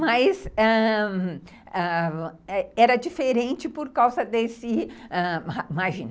Mas, ãh, era diferente por causa desse... ãh, imagina,